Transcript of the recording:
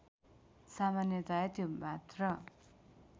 सामान्यतया त्यो मात्र